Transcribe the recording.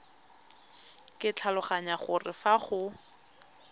ke tlhaloganya gore fa go